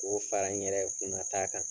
K'o fara n yɛrɛ kunna ta kan.